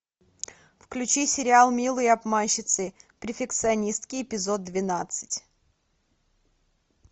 включи сериал милые обманщицы перфекционистки эпизод двенадцать